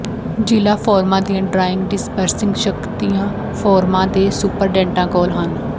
ਜ਼ਿਲ੍ਹਾ ਫੋਰਮਾਂ ਦੀਆਂ ਡਰਾਇੰਗ ਡਿਸਬਰਸਿੰਗ ਸ਼ਕਤੀਆਂ ਫੋਰਮਾਂ ਦੇ ਸੁਪਰਡੈਂਟਾਂ ਕੋਲ ਹਨ